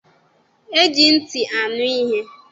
E ji ntị anụ ihe.